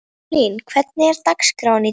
Sigurlín, hvernig er dagskráin í dag?